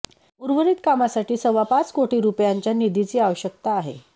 उर्वरीत कामासाठी सव्वा पाच कोटीं रुपयांच्या निधीची आवश्यकता आहे